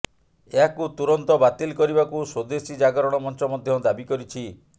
ଏହାକୁ ତୁରନ୍ତ ବାତିଲ କରିବାକୁ ସ୍ବଦେଶୀ ଜାଗରଣ ମଞ୍ଚ ମଧ୍ୟ ଦାବି କରିଛି